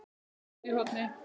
BORÐ ÚTI Í HORNI